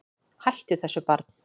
Hættu þessu barn!